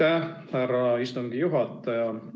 Aitäh, härra istungi juhataja!